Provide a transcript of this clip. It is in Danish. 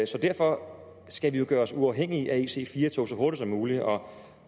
så derfor skal vi jo gøre os uafhængige af ic4 toget så hurtigt som muligt og